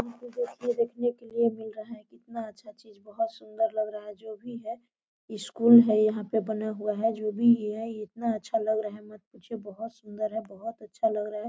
कितना अच्छा चीज सुंदर लग रहा है जो भी है स्कूल है यहाँ पे बना हुआ है जो भी हे या इतना अच्छा लग रहा है मत पूछिए बोहोत सुंदर है बोहोत अच्छा लग रहा है।